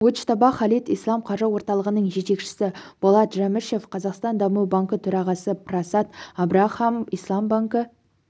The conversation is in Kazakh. муджтаба халид ислам қаржы орталығының жетекшісі болат жәмішев қазақстан даму банкі төрағасы прасад абрахам ислам банкі